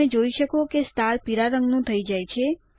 તમે જોઈ શકો કે સ્ટાર પીળા રંગ નું થઇ જાય છે